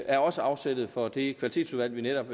er også afsættet for det kvalitetsudvalg vi netop